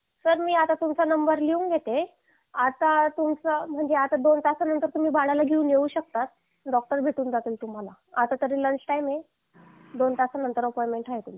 sir मी आता तुमचा नंबर लिहून घेते आता तुमचं म्हणजे आता तुम्ही दोन तासानंतर बाळाला घेऊन येऊ शकता डॉक्टर भेटून जातील तुम्हाला आता तरी लंच टाईम आहे दोन तासानंतर अपॉइंटमेंट आहे